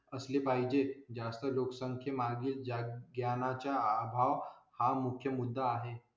असले पाहिजे. जास्त लोकसंख्ये मागे जा ज्ञानाचा अभाव हा मुख्य मुद्दा आहे.